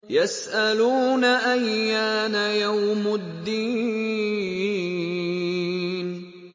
يَسْأَلُونَ أَيَّانَ يَوْمُ الدِّينِ